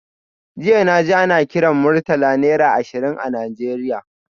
Jiya naji ana kiran Murtala naira ashirin a Nigeria